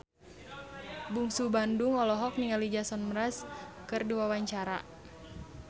Bungsu Bandung olohok ningali Jason Mraz keur diwawancara